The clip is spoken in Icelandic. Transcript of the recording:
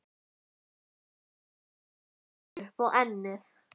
spyr hann og ýtir gleraugunum upp á ennið.